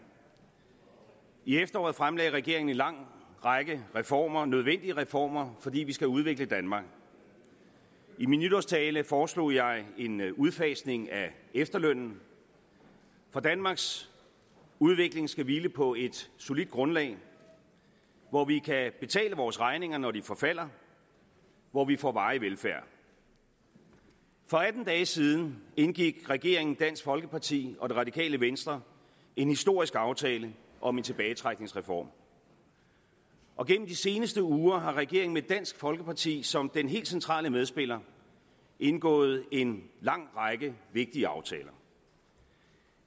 i efteråret fremlagde regeringen en lang række reformer nødvendige reformer fordi vi skal udvikle danmark i min nytårstale foreslog jeg en udfasning af efterlønnen for danmarks udvikling skal hvile på et solidt grundlag hvor vi kan betale vores regninger når de forfalder og hvor vi får varig velfærd for atten dage siden indgik regeringen dansk folkeparti og det radikale venstre en historisk aftale om en tilbagetrækningsreform og gennem de seneste uger har regeringen med dansk folkeparti som den helt centrale medspiller indgået en lang række vigtige aftaler